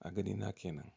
A ganina kenan.